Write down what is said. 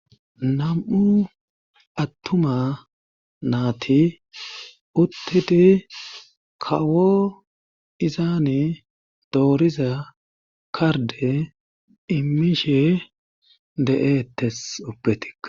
Nam'u attuma naati uttidi kawo izaani dooriza karde imishe de'eettes. Ubbatik.